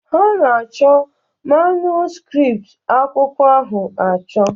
Ha na-achọ manuskript akwụkwọ ahụ achọ